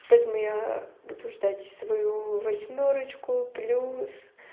поэтому я буду ждать свою восьмерочку плюс